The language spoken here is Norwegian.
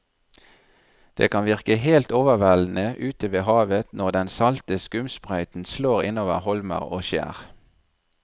Det kan virke helt overveldende ute ved havet når den salte skumsprøyten slår innover holmer og skjær.